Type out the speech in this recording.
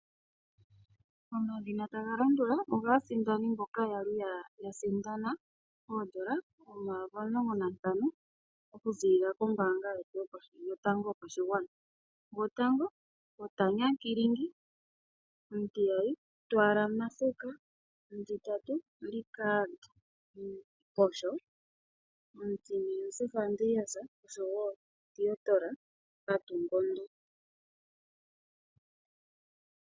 Omadhina taga landula ogaasindani mboka ya li ya sindana oondola omayovi omulongo nantano okuziilila kombaanga yetu yotango yopashigwana. Gotango oTanya Kring, omutiyali Ntwala Masuka, omutitatu Richard Mukosho, omutine Josef Andreas, osho wo Theodore Kotungondo.